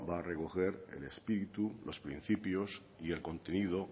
va a recoger el espíritu los principios y el contenido